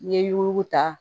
N'i ye yuguta